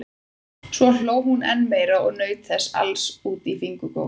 Svo hló hún enn meira og naut þessa alls út í fingurgóma.